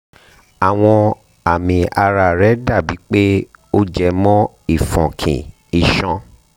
àwọn àmì ara rẹ dàbí pé ó jẹ mọ́ ìfọ́nkí iṣan